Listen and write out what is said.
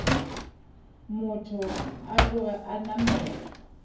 motho a tloge a namela